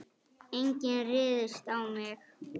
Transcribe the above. Enginn ryðst á mig.